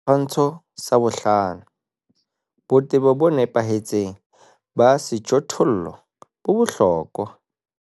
Setshwantsho sa 5. Botebo bo nepahetseng ba sejothollo bo bohlokwa.